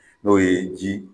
N'o ye ji